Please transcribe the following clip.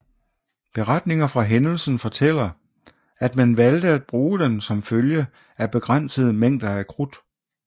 Beretninger fra hændelsen fortæller at man valgte at bruge den som følge af begrænsede mængder af krudt